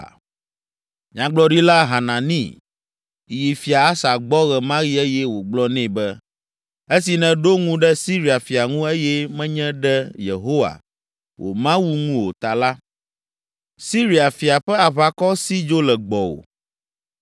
Nyagblɔɖila Hanani yi Fia Asa gbɔ ɣe ma ɣi eye wògblɔ nɛ be, “Esi nèɖo ŋu ɖe Siria fia ŋu eye menye ɖe Yehowa, wò Mawu ŋu o ta la, Siria fia ƒe aʋakɔ si dzo le gbɔwò.